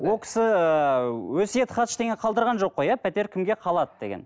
ол кісі ыыы өсиет хат ештеңе қалдырған жоқ қой иә пәтер кімге қалады деген